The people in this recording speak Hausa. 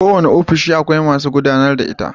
Kowanne ofishi akwai masu gudAnar da ita